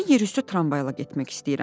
Mən yerüstü tramvayla getmək istəyirəm.